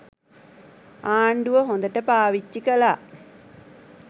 ආණ්ඩුව හොඳට පාවිච්චි කළා.